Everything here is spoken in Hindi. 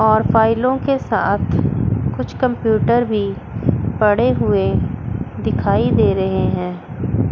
और फाइलों के साथ कुछ कंप्यूटर भी पड़े हुए दिखाई दे रहे हैं।